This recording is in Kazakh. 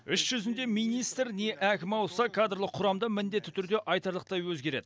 іс жүзінде министр не әкім ауысса кадрлық құрам да міндетті түрде айтарлықтай өзгереді